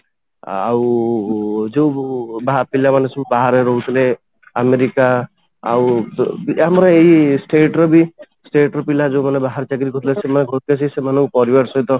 ଆଉ ଯୋଉ ପିଲାମାନେ ସବୁ ବାହାରେ ରହୁଥିଲେ ଆମେରିକା ଆଉ ଆମର ଏଇ state ର ବି state ର ପିଲା ଯୋଉ ମାନେ ବାହାରେ ଚାକିରୀ କରୁଥିଲେ ସେମାନେ ସେମାନଙ୍କ ପରିବାର ସହିତ